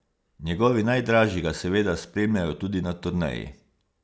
Njegovi najdražji ga seveda spremljajo tudi na turneji.